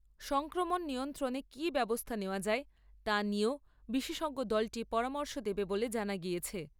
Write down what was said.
সংক্রমণ নিয়ন্ত্রণে কী ব্যবস্থা নেওয়া যায়, তা নিয়েও বিশেষজ্ঞ দলটি পরামর্শ দেবে বলে জানা গিয়েছে।